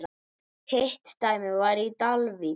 Hitt dæmið var í Dalvík.